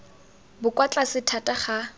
bo kwa tlase thata ga